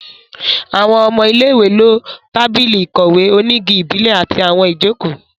Àwọn ọmọ ilé-ìwé lo tábìlì ìkọ̀wé onígi ìbílẹ̀ àti àwọn ìjókòó